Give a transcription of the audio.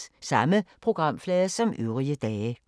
Samme programflade som øvrige dage